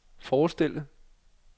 forestille